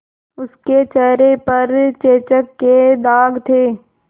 उसके चेहरे पर चेचक के दाग थे